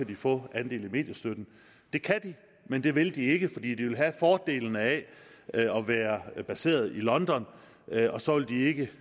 kan få andel i mediestøtten det kan de men det vil de ikke fordi de vil have fordelene af at være placeret i london og så vil de ikke